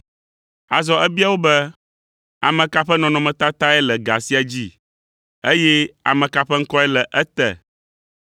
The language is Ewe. Azɔ ebia wo be, “Ame ka ƒe nɔnɔmetatae le ga sia dzi, eye ame ka ƒe ŋkɔe le ete?”